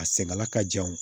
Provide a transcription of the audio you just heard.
A sɛgɛnla ka jan o